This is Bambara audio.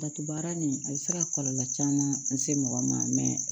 Datugu baara nin a bɛ se ka kɔlɔlɔ caman lase mɔgɔ ma mɛ